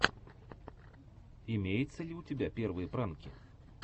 имеется ли у тебя первые пранки